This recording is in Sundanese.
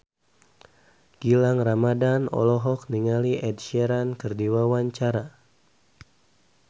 Gilang Ramadan olohok ningali Ed Sheeran keur diwawancara